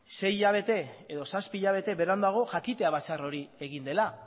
sei zazpi hilabete beranduago jakitea batzar hori egin dela